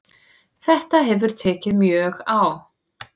Þetta hefur tekið mjög á